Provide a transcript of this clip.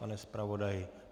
Pane zpravodaji?